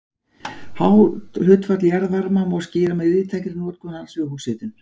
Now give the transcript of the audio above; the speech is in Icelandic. Hátt hlutfall jarðvarma má skýra með víðtækri notkun hans við húshitun.